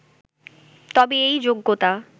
তবে এই 'যোগ্যতা